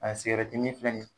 A min filɛ ni ye